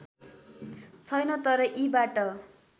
छैन तर यीबाट